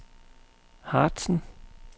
Harzen